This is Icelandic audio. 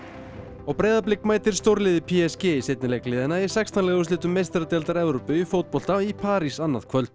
og Breiðablik mætir stórliði p s g í seinni leik liðanna í sextán liða úrslitum meistaradeildar Evrópu í fótbolta í París annað kvöld